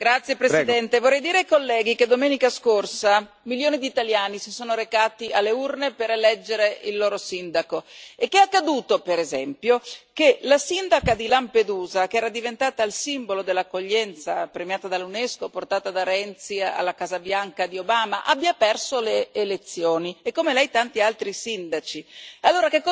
Signor Presidente, onorevoli colleghi, vorrei dire ai colleghi che domenica scorsa milioni di italiani si sono recati alle urne per eleggere il loro sindaco e che è accaduto, per esempio, che la sindaca di Lampedusa, che era diventata il simbolo dell'accoglienza, premiata dall'Unesco e portata da Renzi alla Casa Bianca di Obama, abbia perso le elezioni, e come lei tanti altri sindaci.